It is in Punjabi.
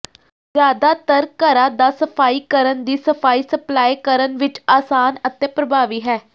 ਜ਼ਿਆਦਾਤਰ ਘਰਾਂ ਦਾ ਸਫ਼ਾਈ ਕਰਨ ਦੀ ਸਫਾਈ ਸਪਲਾਈ ਕਰਨ ਵਿਚ ਆਸਾਨ ਅਤੇ ਪ੍ਰਭਾਵੀ ਹੈ